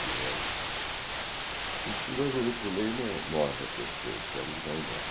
fizeram. Dizem que em dois minutos e meio mo morre a pessoa, o sangue vai embora.